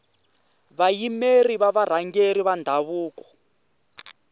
vayimeri va varhangeri va ndhavuko